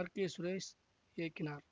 R K Suresh இயக்கினார்